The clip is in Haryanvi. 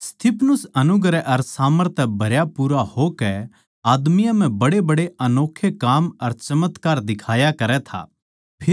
स्तिफनुस अनुग्रह अर सामर्थ तै भरयापूरा होकै आदमियाँ म्ह बड्डेबड्डे अनोक्खे काम अर चमत्कार दिखाया करै था